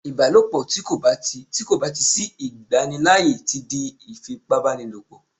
ìbálòpọ̀ ti ko ba ti ko ba ti sí igbanilaaye ti di ifipabanilopo